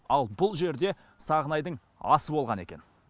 ал бұл жерде сағынайдың асы болған екен